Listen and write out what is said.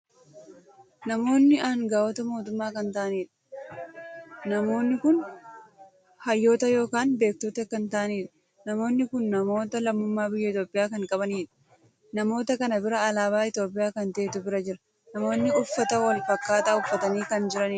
Namoonni hanga'oota mootummaa kan taa'aniidha. namoonni kun hayyoota ykn beektota kan taa'aniidha. namoonni kun namoota lammummaa biyya Itoophiyaa kan qabaniidha. namoota kana bira alaabaa Itoophiyaa kan taheetu bira jira. namoonni uffannaa wal fakkaataa uffatanii kan jiraniidha.